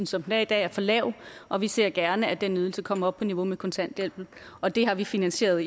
som den er i dag er for lav og vi ser gerne at den ydelse kommer op på niveau med kontanthjælpen og det har vi finansieret